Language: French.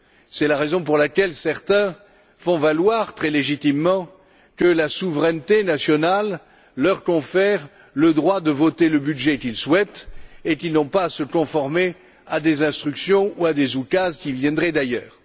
C'est la raison pour laquelle certains font valoir, très légitimement, que la souveraineté nationale leur confère le droit de voter le budget qu'ils souhaitent et qu'ils n'ont pas à se conformer à des instructions ou à des oukases qui viendraient d'ailleurs.